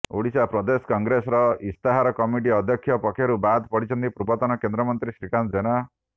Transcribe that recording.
ଓଡ଼ିଶା ପ୍ରଦେଶ କଂଗ୍ରେସର ଇସ୍ତାହାର କମିଟି ଅଧ୍ୟକ୍ଷ ପଦରୁ ବାଦ୍ ପଡିଛନ୍ତି ପୂର୍ବତନ କେନ୍ଦ୍ରମନ୍ତ୍ରୀ ଶ୍ରୀକାନ୍ତ ଜେନା